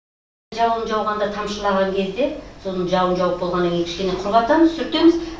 жауын жауғанда тамшылаған кезде сосын жауын жауып болғаннан кейін кішкене құрғатамыз сүртеміз